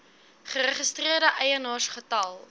geregistreerde eienaars getal